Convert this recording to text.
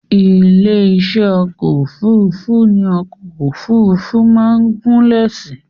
Ilé-iṣẹ́ ọkọ̀ òfurufú ní ọkọ̀ òfurufú máa ń gúnlẹ̀ sí